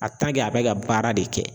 a bɛ ka baara de kɛ